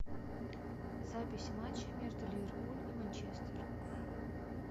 запись матча между ливерпуль и манчестер